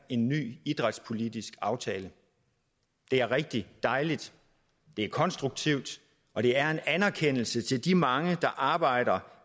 i en ny idrætspolitisk aftale det er rigtig dejligt det er konstruktivt og det er en anerkendelse til de mange der arbejder